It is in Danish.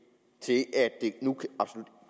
nu